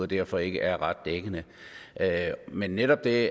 derfor ikke ret dækkende men netop det